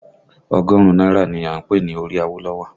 Ọgọ́rùn-ún náírà ni a ń pè ní orí Awolowo